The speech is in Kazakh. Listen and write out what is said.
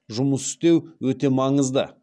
жұмыс істеу өте маңызды